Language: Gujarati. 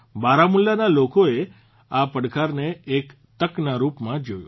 બારામુલાના લોકો એ આ પડકારને એક તકના રૂપમાં જોયો